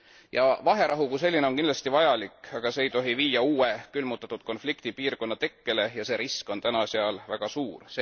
Ja vaherahu kui selline on kindlasti vajalik, aga see ei tohi viia uue külmutatud konfliktipiirkonna tekkele ja see risk on täna seal väga suur.